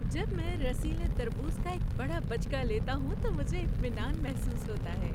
جب میں رسیلے تربوز کا ایک بڑا بچکا لیتا ہوں تو مجھے اطمینان محسوس ہوتا ہے۔